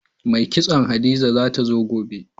Mai kitson Hadiza za ta zo gobe.